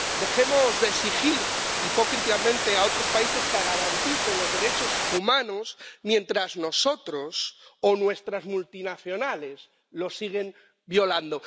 Dejemos de exigir hipócritamente a otros países que garanticen los derechos humanos mientras nosotros, o nuestras multinacionales, los seguimos violando.